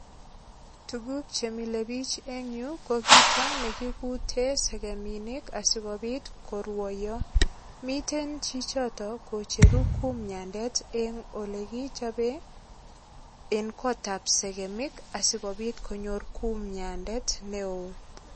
Tuguk che mile biich eng yu ko kito nekikute segeminik asigopit koruoyo. Miten chichoto kocheru kumyandet eng olekichope eng kotab segemik asigopit konyor kumyandet neo.